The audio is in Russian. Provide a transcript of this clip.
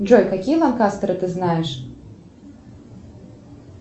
джой какие лонкастеры ты знаешь